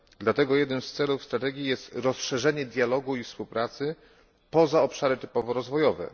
Dlatego jednym z celów strategii jest rozszerzenie dialogu i współpracy poza obszary typowo rozwojowe.